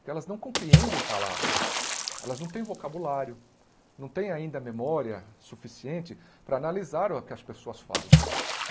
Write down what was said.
porque elas não compreendem palavras, elas não têm vocabulário, não têm ainda memória suficiente para analisar o que as pessoas falam.